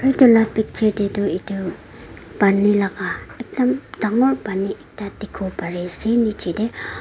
etu laga picture te tu etu pani laga ekdam dagur pani ekta dekhi bo Pari ase niche te.